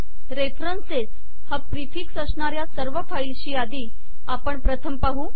references हा prefix अश्नार्या सर्व फाईल्सशी आधी आपण प्रथम पाहू